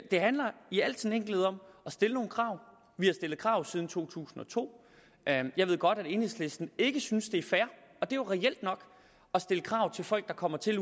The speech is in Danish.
det handler i al enkelhed om at stille nogle krav vi har stillet krav siden to tusind og to jeg ved godt at enhedslisten ikke synes det er fair at stille krav til folk der kommer til